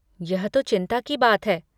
यह तो चिंता की बात है।